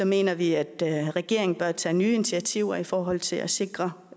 mener vi at regeringen bør tage nye initiativer i forhold til at sikre